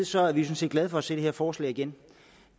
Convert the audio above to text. sådan set glade for at se det her forslag igen